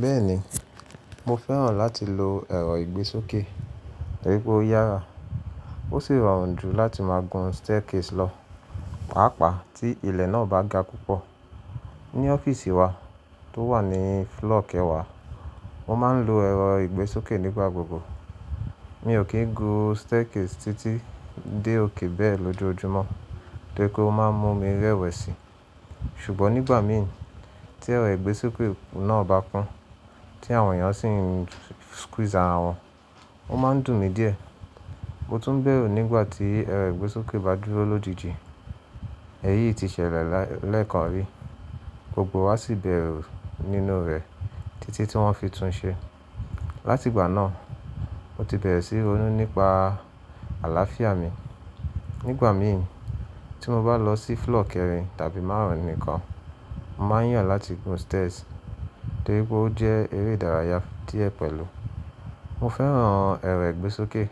Bẹ́ẹ̀ni, mo fẹ́ràn láti lo ẹ̀rọ ìgbésókè, torí pé ó yára, ó sì rọrùn jù láti máa gun staircase lọ, pàápàá tí ilẹ̀ náà bá ga púpọ̀. Ni ọ́fíìsì wa tó wà ní floor kẹwàá, mo máa ń lo ẹ̀rọ ìgbésókè nígbà gbogbo. Mi ò kí ń gun staircase títí dé òkè bẹ́ẹ̀ lójoojúmọ́, torí pé ó máa ń mú mi rẹwẹ̀sì. Ṣùgbọ́n nígbà mí ì tí ẹ̀rọ ìgbésókè náà bá kún, tí àwọn èèyàn sì ń squeeze ara wọn, ó máa ń dùn mí díẹ̀. Mo tún ń bẹ̀rù nígbà tí ẹ̀rọ ìgbésókè bá dúró lójijì. Èyí ti ṣẹlẹ̀ lẹ́ẹ̀kan rí, gbogbo wa sì bẹ̀rù nínú rẹ̀ títí tí wọ́n fi tunṣe. Láti ìgbà náà, mo ti bẹ̀rẹ̀ síí ronú nípa àlàáfíà mi. Nígbà mí ì tí mo bá lọ sí floor kẹrin tàbí márùn-ún nìkan, mo máa ń yàn láti gun stairs torí pé ó jẹ́ eré ìdárayá díẹ̀ pẹ̀lú. Mo fẹ́ràn ẹ̀rọ ìgbésókè,